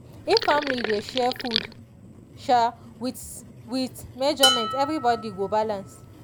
if family dey share food um withs with measurement everybody go balance.